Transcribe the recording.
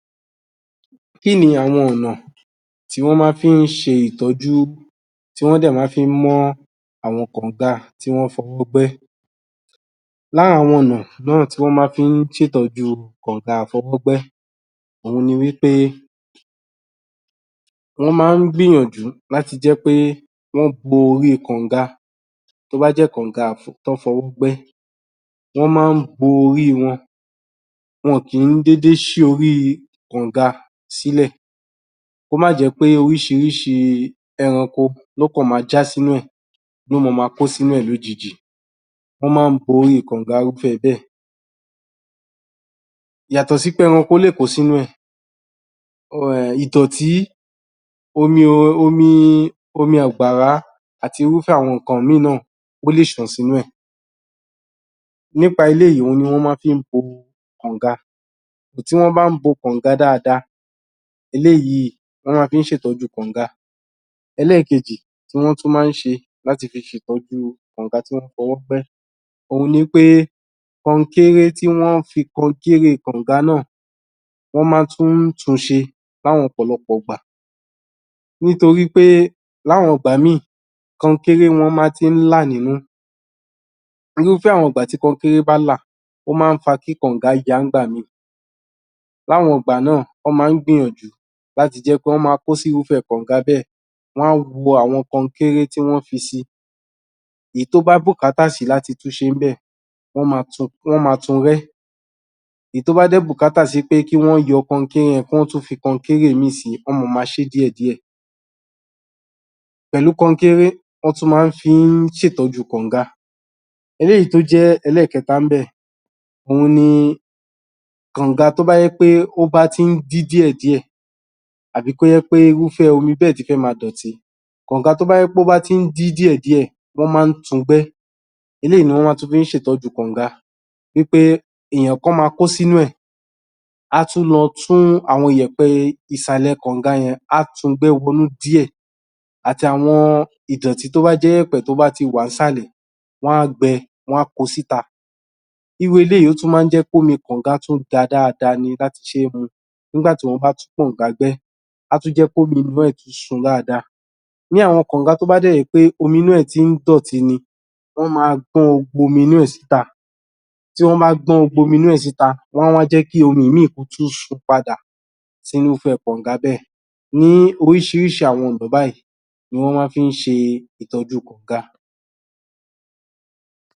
Kí ni àwọn ọ̀nà, tí wọ́n máa fi ń ṣe ìtọjú, tí wọ́n dé ma fi ń mọ́n àwọn kọ̀nga, tí wọn fọwọ́ gbẹ́, lá àwọn ọ̀nà náà tí wọ́n ma fi ń ṣe ìtọ́jú kànga fọwọ́ gbẹ́, ohun ni wípé wọ́n má ń gbìyànjú láti jẹ́ pé wọ́n bo rí kọ̀nga, tó bá jẹ́ kọ̀nga tón fọwọ́ gbẹ́